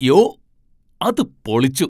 യോ! അത് പൊളിച്ചു!